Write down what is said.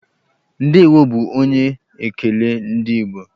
Ndeewo'' bu onye ekele ndị Igbo.